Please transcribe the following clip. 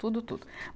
Tudo, tudo.